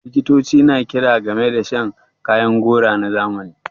Likitoci na kira game da rage shan kayan gora na zamani